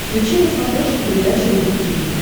включи на смотрешке передачу рубль ти ви